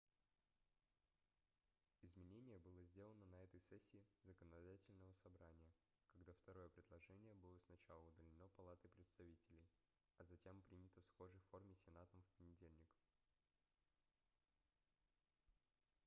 изменение было сделано на этой сессии законодательного собрания когда второе предложение было сначала удалено палатой представителей а затем принято в схожей форме сенатом в понедельник